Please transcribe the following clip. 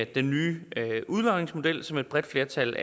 den nye udlodningsmodel som et bredt flertal